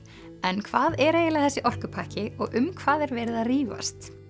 en hvað er eiginlega þessi orkupakki og um hvað er verið að rífast